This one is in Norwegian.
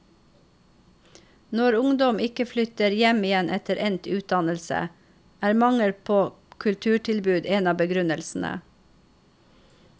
Når ungdom ikke flytter hjem igjen etter endt utdannelse, er mangel på kulturtilbud en av begrunnelsene.